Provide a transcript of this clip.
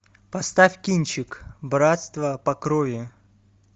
поставь кинчик братство по крови